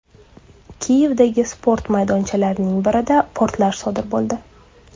Kiyevdagi sport maydonchalarining birida portlash sodir bo‘ldi.